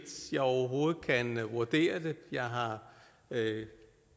jeg overhovedet kan vurdere det jeg har